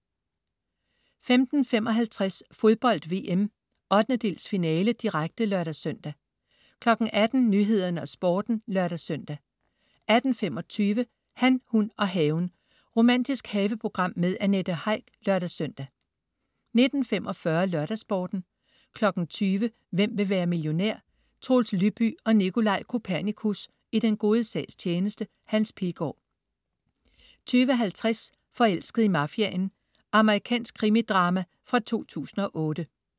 15.55 Fodbold VM: 1/8-finale, direkte (lør-søn) 18.00 Nyhederne og Sporten (lør-søn) 18.25 Han, hun og haven. Romantisk haveprogram med Annette Heick (lør-søn) 19.45 LørdagsSporten 20.00 Hvem vil være millionær? Troels Lyby og Nicolaj Kopernikus i den gode sags tjeneste. Hans Pilgaard 20.50 Forelsket i mafiaen. Amerikansk krimidrama fra 2008